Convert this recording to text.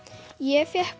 ég fékk